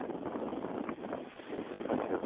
ਅੱਛਾ